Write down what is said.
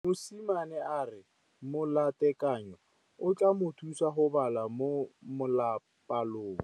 Mosimane a re molatekanyô o tla mo thusa go bala mo molapalong.